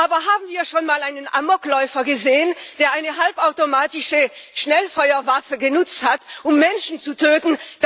Aber haben wir schon mal einen Amokläufer gesehen, der eine halbautomatische Schnellfeuerwaffe genutzt hat, um Menschen zu töten?